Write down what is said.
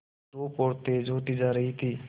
धूप और तेज होती जा रही थी